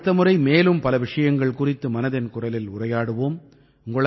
நாம் அடுத்த முறை மேலும் பல விஷயங்கள் குறித்து மனதின் குரலில் உரையாடுவோம்